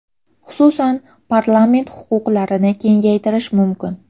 Xususan, parlament huquqlarini kengaytirish mumkin.